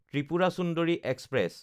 Tripura Sundari express